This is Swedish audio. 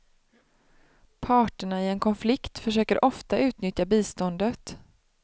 Parterna i en konflikt försöker ofta utnyttja biståndet.